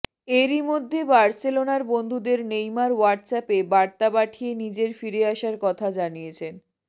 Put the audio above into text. এরই মধ্যে বার্সেলোনার বন্ধুদের নেইমার হোয়াটসঅ্যাপে বার্তা পাঠিয়ে নিজের ফিরে আসার কথা জানিয়েছেন